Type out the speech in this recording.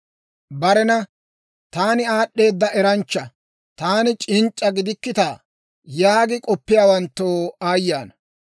Barena, «Taani aad'd'eeda eranchcha! Taani c'inc'c'a gidikkitaa!» yaagi k'oppiyaawantto aayye ana!